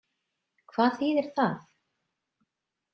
Hvað þýðir það?